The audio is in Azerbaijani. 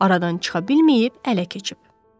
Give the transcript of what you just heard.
Aradan çıxa bilməyib ələ keçib.